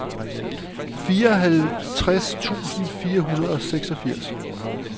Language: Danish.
fireoghalvtreds tusind fire hundrede og seksogfirs